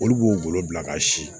Olu b'o bolo bila ka si